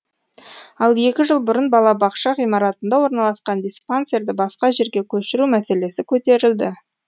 ал екі жыл бұрын балабақша ғимаратында орналасқан диспансерді басқа жерге көшіру мәселесі көтерілді